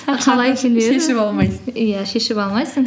шешіп алмайсың иә шешіп алмайсың